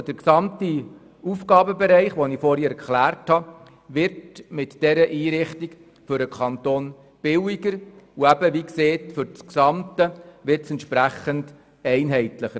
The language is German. Der gesamte Aufgabenbereich, auf den ich vorhin hingewiesen habe, wird dank dieser Einrichtung für den Kanton billiger, und es wird eine gewisse Einheitlichkeit geschaffen.